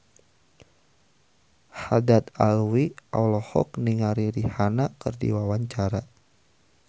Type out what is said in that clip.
Haddad Alwi olohok ningali Rihanna keur diwawancara